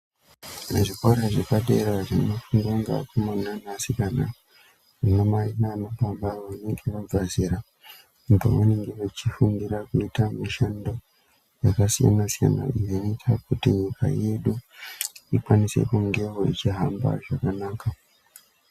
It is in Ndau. Mu zvikora zvapa dera zvino fundwa nge akomana ne asikana ana mai nana baba vanenge vabva zera pa vanenge vechi fundira kuita mishando yaka siyana siyana iyo inoita kuti nyika yedu ikwanise kungewo ichi hamba zvakanaka.